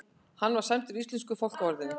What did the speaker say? Hann var sæmdur íslensku fálkaorðunni